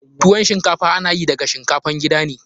Tuwon shinkafa ana yi daga shinkafan gida ne.